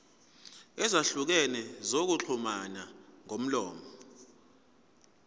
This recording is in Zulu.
ezahlukene zokuxhumana ngomlomo